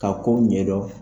K'a kow ɲɛdɔn